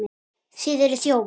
Þið eruð þjófar!